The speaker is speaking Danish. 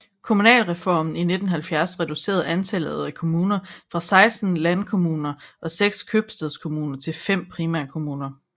Kommunalreformen i 1970 reducerede antallet af kommuner fra 16 landkommuner og seks købstadskommuner til fem primærkommuner